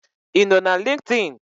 I no na linkdin?